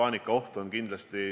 Riigikogu liikmetel on küsimusi.